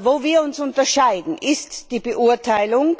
Wo wir uns unterscheiden, ist die Beurteilung